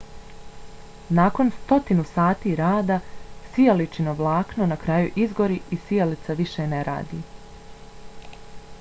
nakon stotina sati rada sijalično vlakno na kraju izgori i sijalica više ne radi